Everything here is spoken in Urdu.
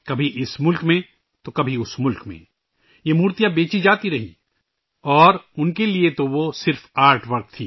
کبھی اِس ملک میں، کبھی اس ملک میں یہ مورتیاں بیچی جاتی رہیں اور ان کے لئے وہ تو صرف فن پارے تھے